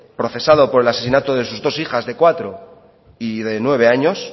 procesado por el asesinato de sus dos hijas de cuatro y de nueve años